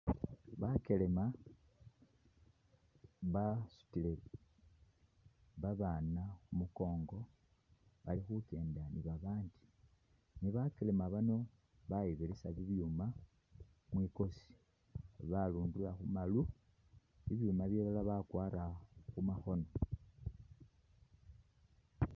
Bakelema basutile babaana khu mukongo bali khukenda ni babaana ,ne bakelema bano bayibirisa bibyuuma mwikosi, barundura khumaru ,bibyuma bilala bakwara khu makhono